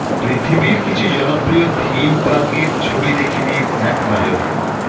পৃথিবীর কিছু জনপ্রিয় থিম পার্কের ছবি দেখে নিন এক নজরে